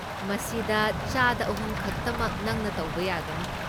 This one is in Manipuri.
ꯃꯁꯤꯗ ꯆꯥꯗ ꯑꯍꯨꯝ ꯈꯛꯇꯃꯛ ꯅꯪꯅ ꯇꯧꯕ ꯌꯥꯒꯅꯤ꯫